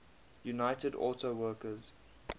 united auto workers